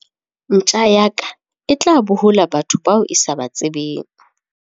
Ntja ya ka e tla bohola batho bao e sa ba tsebeng.